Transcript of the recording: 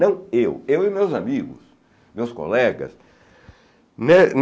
Não eu, eu e meus amigos, meus colegas.